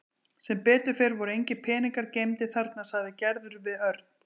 Sem betur fer voru engir peningar geymdir þarna sagði Gerður við Örn.